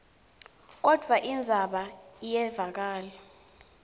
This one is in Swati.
kodvwa indzaba iyevakala